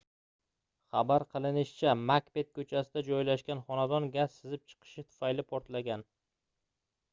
xabar qilinishicha makbet koʻchasida joylashgan xonadon gaz sizib chiqishi tufayli portlagan